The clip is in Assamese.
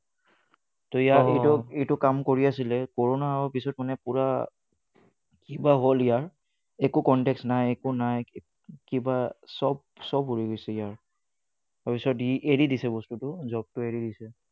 এইটো কাম কৰি আছিলে corona পাছত মানে পোৰা কিবা হল ইয়াৰ একো contact নাই একো নাই কিবা চব চব উৰি গৈছিলে ইয়াৰ তাৰ পাছত ই এৰি দিছে বস্তুটো job তো এৰি দিছে